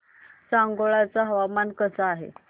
सांगोळा चं हवामान कसं आहे